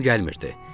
Yuxum gəlmirdi.